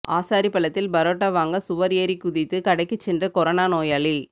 ஆசாரிப்பள்ளத்தில் பரோட்டா வாங்க சுவர் ஏறி குதித்து கடைக்குச் சென்ற கொரோனா நோயாளி